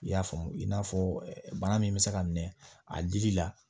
I y'a faamu i n'a fɔ bana min bɛ se ka minɛ a dili la